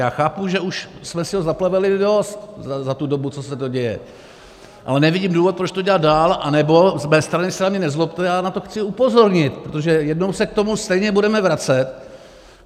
Já chápu, že už jsme si ho zaplevelili dost za tu dobu, co se to děje, ale nevidím důvod, proč to dělat dál, anebo z mé strany se na mě nezlobte, já na to chci upozornit, protože jednou se k tomu stejně budeme vracet.